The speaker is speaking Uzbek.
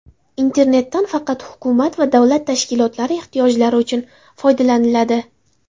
Internetdan faqat hukumat va davlat tashkilotlari ehtiyojlari uchun foydalaniladi.